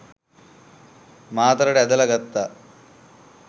මාතරට ඇදලා ගත්තා.